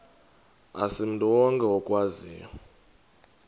asimntu wonke okwaziyo